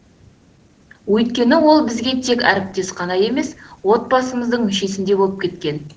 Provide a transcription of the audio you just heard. өйткені ол бізге тек әріптес қана емес отбасымыздың мүшесіндей болып кеткен